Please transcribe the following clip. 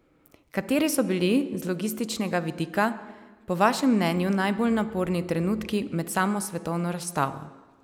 Kateri so bili z logističnega vidika po vašem mnenju najbolj naporni trenutki med samo svetovno razstavo?